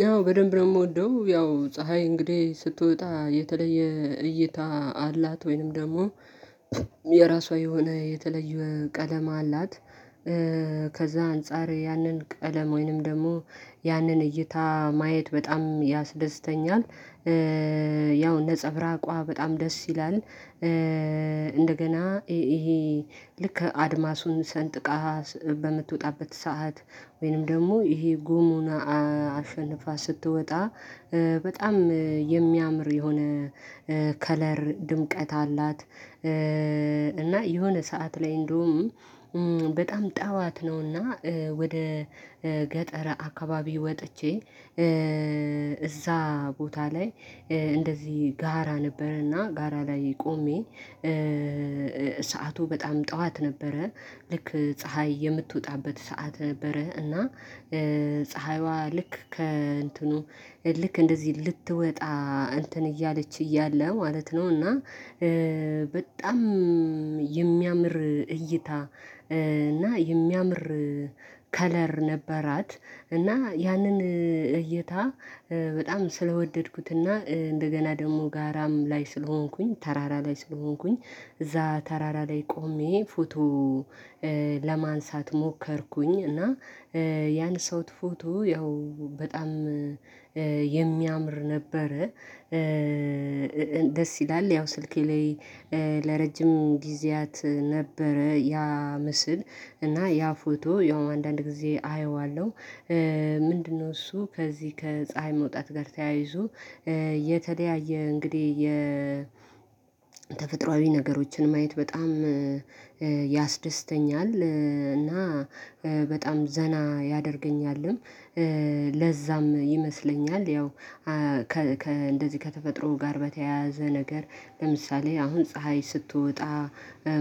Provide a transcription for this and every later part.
ያው በደንብ ነው የምወደው ያው ፀሀይ እንግዲህ ስትወጣ የተለየ እይታ አላት ወይንም ደግሞ የራሷ የሆነ የተለየ ቀለም አላት። እ ከዛ አንፃር ያንን ቀለም ወይንም ደግሞ ያንን እይታ ማየት በጣም ያስደስተኛል። እ ያው እንደ ነፀብራቋ በጣም ደስ ይላል። እ እንደገና ይሄ ልክ አድማሱን ሰንጥቃ በምትወጣበት ሰዓት ወይንም ደግሞ ይሄ ጉሙና አሸንፋ ስትወጣ በጣም የሚያምር የሆነ እ ከለር ድምቀት አላት። እ እና የሆነ ሰዓት ላይ እንደውም በጣም ጠዋት ነውና ወደ ገጠረ አካባቢ ወጥቼ እ እዛ ቦታ ላይ እንደዚህ ጋራ ነበረና ጋራ ላይ ቆሜ እ ሰዓቱ በጣም ጠዋት ነበረ። ልክ ፀሀይ የምትወጣበት ሰዓት ነበረ እና እ ፀሀይዋ ልክ ከእንትኑ ልክ እንደዚህ ልትወጣ እንትን እያለች እያለ ማለት ነው። እና በጣም የሚያምር እይታ እ እና የሚያምር ከለር ነበራት። እና ያንን እይታ በጣም ስለወደድኩትና እንደገና ደግሞ ጋራም ላይ ስለሆንኩኝ ተራራ ላይ ስለሆንኩኝ እዛ ተራራ ላይ ቆሜ ፎቶ እ ለማንሳት ሞከርኩኝ እና ያነሳሁት ፎቶ ያው በጣም የሚያምር ነበረ። ደስ ይላል ያው ስልኬ ላይ ለረጅም ጊዜያት ነበረ። ያ ምስል እና ያ ፎቶ ያው አንዳንድ ጊዜ አየዋለሁ። ምንድነው እሱ ከዚህ ከፀሀይ መውጣት ጋር ተያይዞ የተደያየ እንግዲህ የተፈጥሮአዊ ነገሮችን ማየት በጣም ያስደስተኛል። እና በጣም ዘና ያደርገኛልም። እ ለዛም ይመስለኛል ያው እ ከ ከ እንደዚህ ከተፈጥሮ ጋር በተያያዘ ነገር ለምሳሌ አሁን ፀሀይ ስትወጣ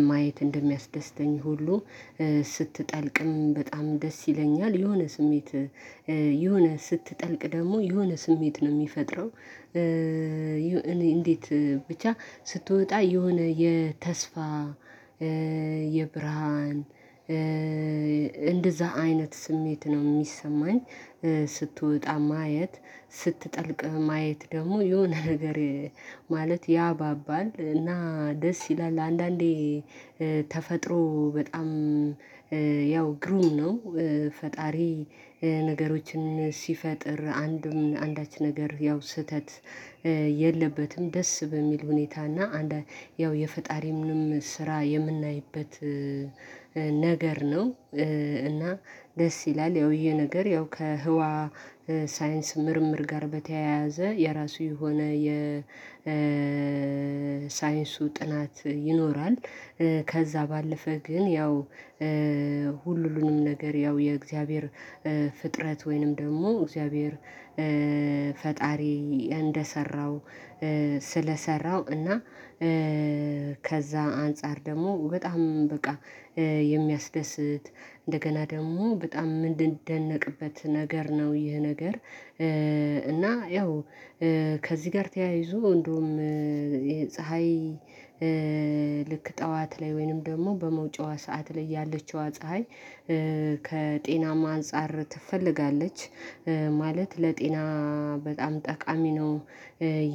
ማየት እንደሚያስደስተኝ ሁሉ ስትጠልቅም በጣም ደስ ይለኛል። የሆነ ስሜት የሆነ ስትጠልቅ ደግሞ የሆነ ስሜት ነው የሚፈጥረው። እ እኔ እንዴት ብቻ ስትወጣ የሆነ የተስፋ እ የብርሃን እ እንደዛ አይነት ስሜት ነው የሚሰማኝ። ስትወጣ ማየት ስትጠልቅ ማየት ደግሞ የሆነ ነገር ማለት ያባባል እና ደስ ይላል። አንዳንዴ ተፈጥሮ በጣም ያው ግሩም ነው። ፈጣሪ ነገሮችን ሲፈጥር አንድም አንዳች ነገር ያው ስህተት የለበትም ደስ በሚል ሁኔታ እና አንዳ ያው የፈጣሪ ምንም ስራ የምናይበት ነገር ነው። እ እና ደስ ይላል። ያው ይሄ ነገር ያው ከህዋ ሳይንስ ምርምር ጋር በተያያዘ የራሱ የሆነ የሳይንሱ ጥናት ይኖራል። እ ከዛ ባለፈ ግን ያው እ ሁሉንም ነገር ያው የእግዚአብሔር እ ፍጥረት ወይንም ደግሞ እግዚአብሔር ፈጣሪ እንደሰራው ስለሰራው እና እ ከዛ አንፃር ደግሞ በጣም በቃ የሚያስደስት እንደገና ደግሞ በጣም ምንደነቅበት ነገር ነው። ይህ ነገር እና ያው ከዚህ ጋር ተያይዞ እንደውም ፀሀይ ልክ ጠዋት ላይ ወይንም ደግሞ በመውጪዋ ሰዓት ላይ ያለችዋ ፀሀይ ከጤና አንፃር ትፈልጋለች ማለት ለጤና በጣም ጠቃሚ ነው።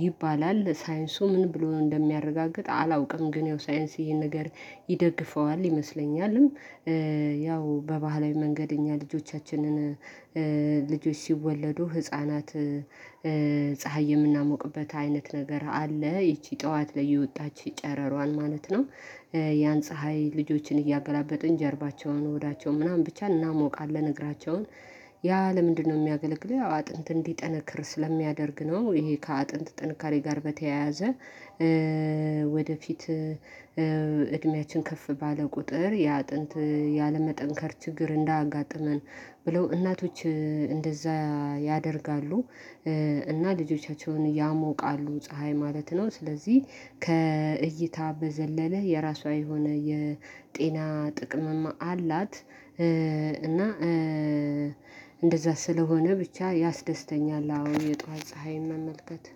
ይባላል ሳይንሱ ምን ብሎ እንደሚያረጋግጥ አላውቅም። ግን ያው ሳይንስ ይሄን ነገር ይደግፈዋል ይመስለኛልም። ያው በባህላዊ መንገድ እኛ ልጆቻችንን ልጆች ሲወለዱ ህፃናት ፀሀይ የምናሞቅበት አይነት ነገር አለ ይቺ ጠዋት ላይ የወጣች ጨረሯን ማለት ነው። ያን ፀሀይ ልጆችን እያገላበጥን ጀርባቸውን ሆዳቸው ምናምን ብቻ እናሞቃለን እግራቸውን ያ ለምንድነው የሚያገለግለው አጥንት እንዲጠነክር ስለሚያደርግ ነው። ይሄ ከአጥንት ጥንካሬ ጋር በተያያዘ ወደፊት እድሜያችን ከፍ ባለ ቁጥር የአጥንት ያለመጠንከር ችግር እንዳጋጥመን ብለው እናቶች እንደዛ ያደርጋሉ እ እና ልጆቻቸውን ያሞቃሉ ፀሀይ ማለት ነው። ስለዚህ ከእይታ በዘለለ የራሷ የሆነ የጤና ጥቅምም አላት። እንደዛ ስለሆነ ብቻ ያስደስተኛል አሁን የጧት ፀሀይ መመልከት